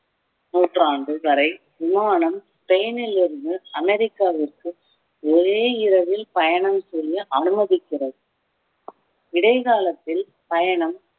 நூற்றாண்டு வரை விமானம் ஸ்பெயினில் இருந்து அமெரிக்காவிற்கு ஒரே இரவில் பயணம் செய்ய அனுமதிக்கிறது இடைக்காலத்தில் பயணம்